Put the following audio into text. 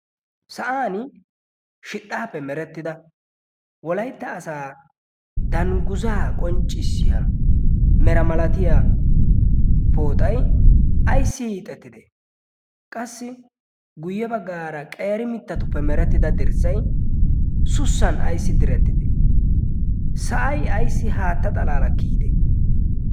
sa'an shidhaappe merettida wolaytta asaa dangguzaa qonccissiya mera malatiya pooxay ayssi hiixettide qassi guyye baggaara qeeri mittatuppe merettida dirssay sussan ayssi direttite sa'ai ayssi haatta xalaalakkiyide?